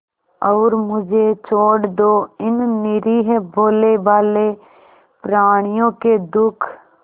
और मुझे छोड़ दो इन निरीह भोलेभाले प्रणियों के दुख